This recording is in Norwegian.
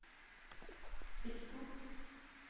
sikten